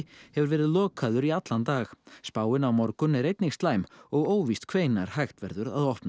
hefur verið lokaður í allan dag spáin á morgun er einnig slæm og óvíst hvenær hægt verður að opna